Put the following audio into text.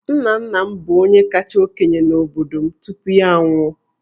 Nna nna m bụ onye kacha okenye n'obodo m tupu ya anwụọ.